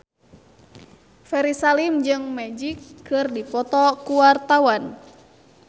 Ferry Salim jeung Magic keur dipoto ku wartawan